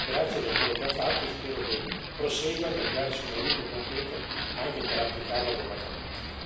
Grazie per quello che ha fatto e spero che prosegua nel darci un aiuto concreto anche per applicarlo adeguatamente.